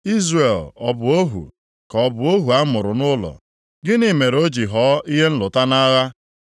Izrel ọ bụ ohu, ka ọ bụ ohu a mụrụ nʼụlọ? Gịnị mere o ji ghọọ ihe nlụta nʼagha?